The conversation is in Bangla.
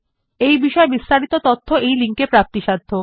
এই বিষয় বিস্তারিত তথ্য এই লিঙ্ক এ প্রাপ্তিসাধ্য